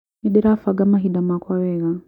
Nĩndĩrabanga mahinda makwa wega